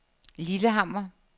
Lillehammer